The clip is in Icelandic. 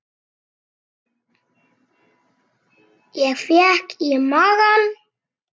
Ég fékk í magann.